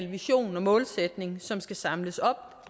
vision og målsætning som skal samles op